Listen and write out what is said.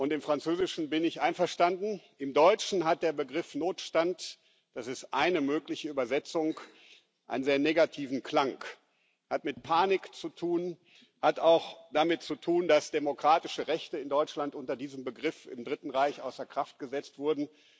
Im Französischen bin ich einverstanden, im Deutschen hat der Begriff Notstand das ist eine mögliche Übersetzung einen sehr negativen Klang, er hat mit Panik zu tun, er hat auch damit zu tun, dass im Dritten Reich in Deutschland unter diesem Begriff demokratische Rechte außer Kraft gesetzt wurden.